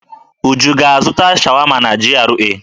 Uju ga-azụta sháwámá n'GRA?